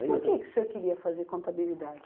Por que que o senhor queria fazer contabilidade?